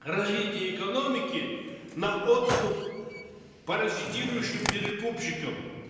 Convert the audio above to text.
развития экономики на откуп паразитирующим перекупщикам